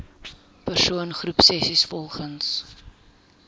persoon groepsessies volgens